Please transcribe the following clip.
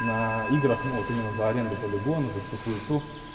на играх ну вот именно за аренду полигона за всю хуету